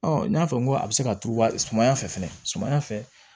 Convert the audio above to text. Ɔ n y'a fɔ n ko a bɛ se ka turu sumaya fɛ fɛnɛ sumana